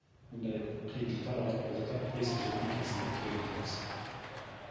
мұндай қиындықтар ауыртпалықтар ескі жылмен кетсін деп тілек айтамыз